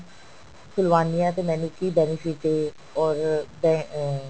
ਖੁਲਵਾਉਨੀ ਹਾਂ ਤੇ ਮੈਨੂੰ ਕੀ benefit ਏ or ਅਹ